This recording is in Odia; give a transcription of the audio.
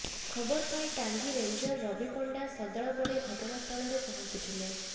ଖବର ପାଇ ଟାଙ୍ଗୀ ରେଞ୍ଜର ରବି ପଣ୍ଡା ସଦଳ ବଳେ ଘଟଣା ସ୍ଥଳରେ ପହଞ୍ଚି ଥିଲେ